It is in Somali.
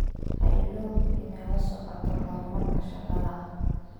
Ha iloobin inaad la socoto horumarka shaqada.